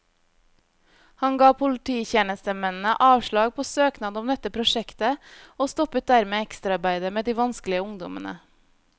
Han ga polititjenestemennene avslag på søknad om dette prosjektet, og stoppet dermed ekstraarbeidet med de vanskelige ungdommene.